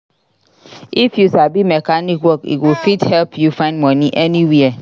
If you sabi mechanic work e go fit help you find money anywhere.